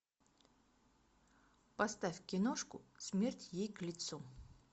поставь киношку смерть ей к лицу